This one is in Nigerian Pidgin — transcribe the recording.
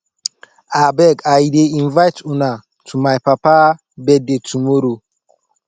abeg i dey invite una to my papa birthday tomorrow